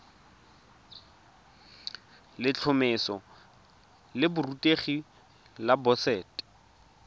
letlhomeso la borutegi la boset